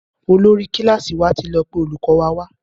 Olórí kílàsì wà tí lọ pé olùkó wa wá.